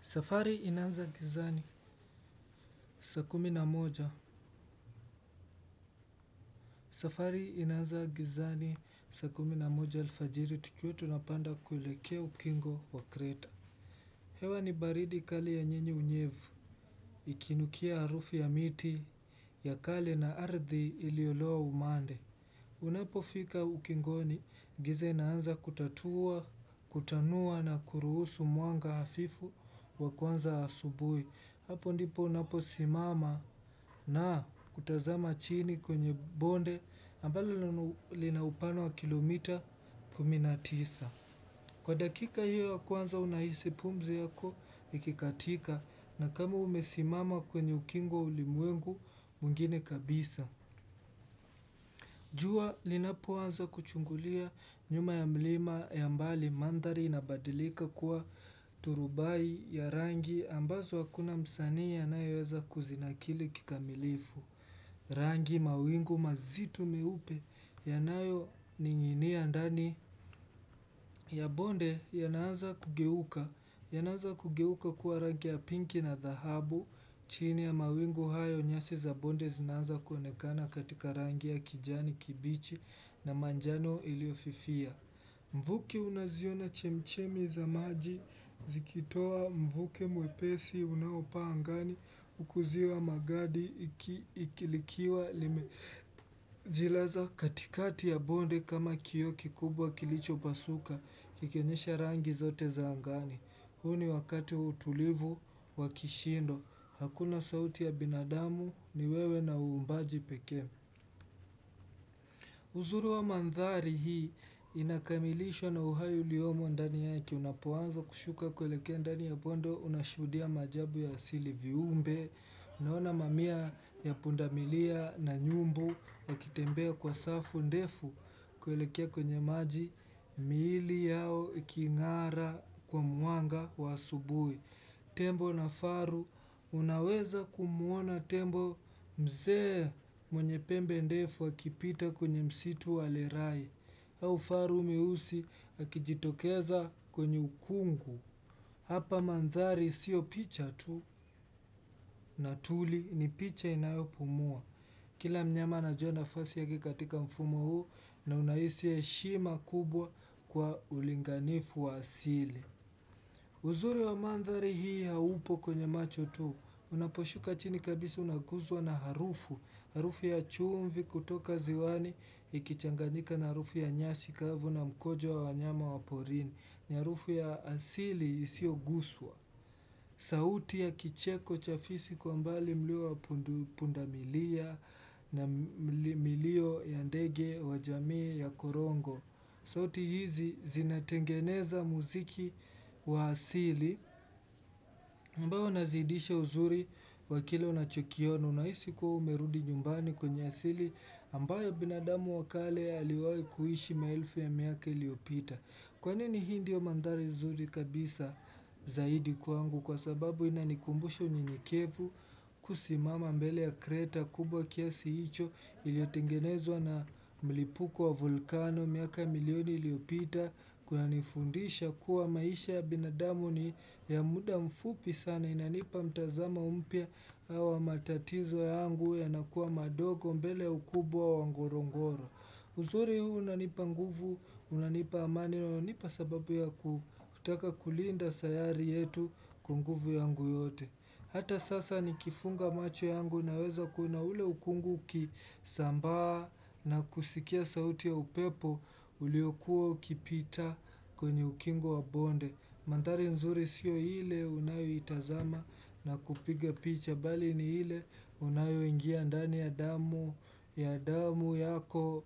Safari inaanza gizani saa kumi na moja safari inaanza gizani saa kumi na moja alfajiri tukiwa tunapanda kuelekea ukingo wa kreta. Hewa ni baridi kali yenye ni unyevu Ikinukia harufi ya miti ya kale na ardhi iliyoloa umande Unapofika ukingoni giza inaanza kutatua, kutanua na kuruhusu mwanga hafifu wa kwanza asubuhi hapo ndipo unaposimama na kutazama chini kwenye bonde ambalo lina upana wa kilomita kumi na tisa. Kwa dakika hiyo kwanza unahisi pumzi yako ikikatika na kama umesimama kwenye ukingo wa ulimwengu mwingine kabisa. Jua linapoanza kuchungulia nyuma ya mlima ya mbali mandhari inabadilika kuwa turubai ya rangi ambazo hakuna msanii anayeweza kuzinakili kikamilifu. Rangi mawingu mazito meupe yanayoninginia ndani ya bonde yanaanza kugeuka. Yanaanza kugeuka kuwa rangi ya pinki na dhahabu, chini ya mawingu hayo nyasi za bonde zinaanza kuonekana katika rangi ya kijani, kibichi na manjano iliyofifia. Mvuke unaziona chemchemi za maji, zikitoa mvuke mwepesi unaopaa angani, huku ziwa magadi ikilikia limezilaza katikati ya bonde kama kioo kikubwa kilichopasuka, kikionyesha rangi zote za angani. Huu ni wakati utulivu wa kishindo, hakuna sauti ya binadamu ni wewe na uumbaji pekee. Uzuru wa mandhari hii inakamilishwa na uhai uliomo ndani yake unapoanza kushuka kuelekea ndani ya bondo unashuhudia maajabu ya asili viumbe. Naona mamia ya pundamilia na nyumbu wakitembea kwa safu ndefu kuelekea kwenye maji miili yao ikingara kwa mwanga wa asubuhi. Tembo na faru, unaweza kumuona tembo mzee mwenye pembe ndefu akipita kwenye msitu wa lerai. Au faru mieusi akijitokeza kwenye ukungu. Hapa mandhari sio picha tu na tuli ni picha inayopumua. Kila mnyama anajua nafasi yake katika mfumo huu na unahisi heshima kubwa kwa ulinganifu wa asili. Uzuri wa mandhari hii haupo kwenye macho tu. Unaposhuka chini kabisi unaguzwa na harufu. Harufu ya chumvi kutoka ziwani ikichanganyika na harufu ya nyasi kavu na mkojo wa wanyama wa porini. Ni harufu ya asili isiyoguzwa. Sauti ya kicheko cha fisi kwa mbali mlio wa pundamilia na milio ya ndege wa jamii ya korongo. Sauti hizi zinatengeneza muziki wa asili ambayo unazidisha uzuri wa kile unachokiona. Unahisi kuwa umerudi nyumbani kwenye asili ambayo binadamu wa kale aliwahi kuishi maelfu ya miaka iliyopita. Kwa nini hii ndiyo mandhari zuri kabisa zaidi kwangu kwa sababu inanikumbusha unyenyekevu kusimama mbele ya kreta kubwa kiasi hicho iliyotengenezwa na mlipuko wa vulkano miaka milioni iliyopita kunanifundisha kuwa maisha ya binadamu ni ya muda mfupi sana inanipa mtazama mpya au matatizo yangu yanakuwa madogo mbele ukubwa wa ngorongoro. Uzuri huu unanipa nguvu, unanipa amani na unanipa sababu ya kutaka kulinda sayari yetu kwa nguvu yangu yote. Hata sasa nikifunga macho yangu naweza kuna ule ukungu ukisambaa na kusikia sauti ya upepo uliokuwa ukipita kwenye ukingu wa bonde. Mandhari nzuri sio ile unayoitazama na kupiga picha bali ni ile unayoingia ndani ya damu ya damu yako